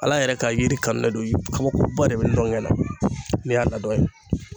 Ala yɛrɛ ka yiri kanulen don kabakoba de be ndɔngɛ la ne y'a ladɔn ye